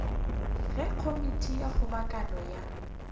ge komiti ya kgobokano ya